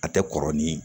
A tɛ kɔrɔ ni